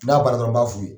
N'a baara dɔrɔn b'a f'i ye